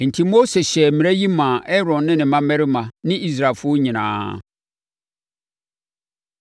Enti Mose hyɛɛ mmara yi maa Aaron ne ne mmammarima ne Israelfoɔ nyinaa.